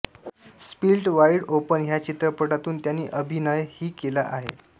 split wide open ह्या चित्रपटातून त्यांनी अभिनय ही केला आहे